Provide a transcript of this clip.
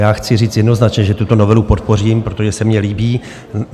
Já chci říct jednoznačně, že tuto novelu podpořím, protože se mně líbí.